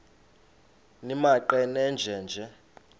nimaqe nenje nje